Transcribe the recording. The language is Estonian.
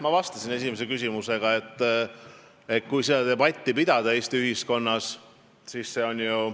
Ma vastasin esimesele küsimusele, kuidas peaks seda debatti Eesti ühiskonnas pidama.